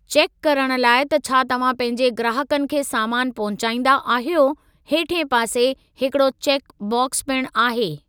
चेकु करणु लाइ त छा तव्हां पंहिंजे ग्राहकनि खे सामान पहुचाईंदा अहियो, हेठिएं पासे हिकड़ो चेकु बाक्स पिणु आहे।